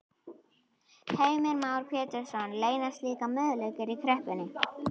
Heimir Már Pétursson: Leynast líka möguleikar í kreppunni?